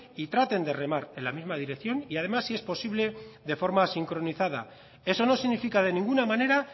y traten de remar en la misma dirección y además si es posible de forma sincronizada eso no significa de ninguna manera